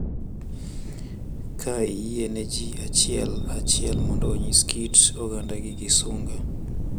Ka iyie ne ji achiel achiel mondo onyis kit ogandagi gi sunga.